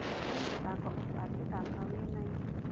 Kũrĩ mĩthako utangĩthaka wĩ na ihu